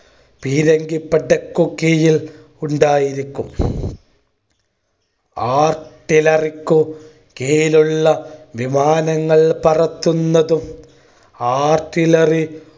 പീരങ്കിപ്പടക്കു കീഴിൽ ഉണ്ടായിരിക്കും. artillary ക്കു കീഴിലുള്ള വിമാനങ്ങൾ പറത്തുന്നതും artillary